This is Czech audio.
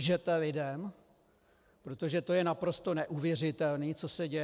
Lžete lidem, protože to je naprosto neuvěřitelné, co se děje.